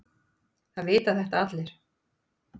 Það vita þetta allir.